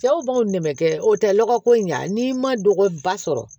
Cɛw b'o nɛmɛ kɛ o tɛ lɔgɔ ko in ɲa n'i ma lɔgɔ ba sɔrɔ